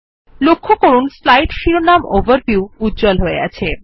লক্ষ্য করুন স্লাইড শিরোনাম ওভারভিউ উজ্জ্বল হয়ে আছে